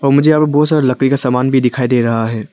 मुझे यहां पर बहुत सारे लकड़ी का सामान भी दिखाई दे रहा है।